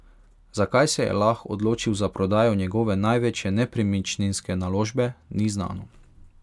Zakaj se je Lah odločil za prodajo njegove največje nepremičninske naložbe, ni znano.